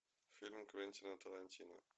фильм квентина тарантино